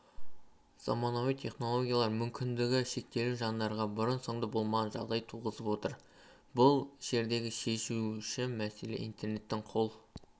заманауи технологиялар мүмкіндігі шектеулі жандарға бұрын-соңды болмаған жағдай туғызып отыр бұл жердегі шешуші мәселе интернеттің қол